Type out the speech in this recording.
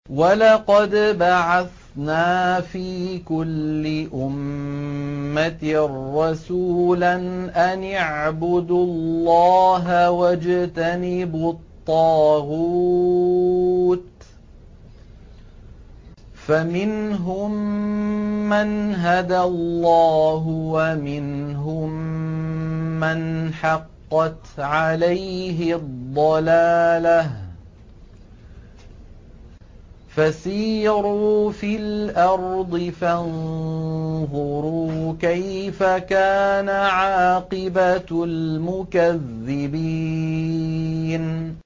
وَلَقَدْ بَعَثْنَا فِي كُلِّ أُمَّةٍ رَّسُولًا أَنِ اعْبُدُوا اللَّهَ وَاجْتَنِبُوا الطَّاغُوتَ ۖ فَمِنْهُم مَّنْ هَدَى اللَّهُ وَمِنْهُم مَّنْ حَقَّتْ عَلَيْهِ الضَّلَالَةُ ۚ فَسِيرُوا فِي الْأَرْضِ فَانظُرُوا كَيْفَ كَانَ عَاقِبَةُ الْمُكَذِّبِينَ